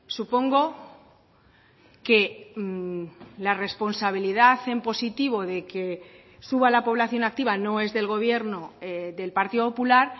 supongo que la responsabilidad en positivo de que suba la población activa no es del gobierno del partido popular